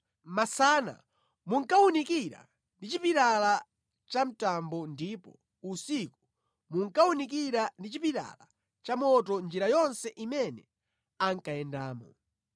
Masana munkawunikira ndi chipilala cha mtambo ndipo usiku munkawunikira ndi chipilala cha moto njira yonse imene ankayendamo.